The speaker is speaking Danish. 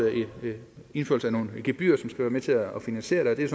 indførelse af nogle gebyrer som skal være med til at finansiere det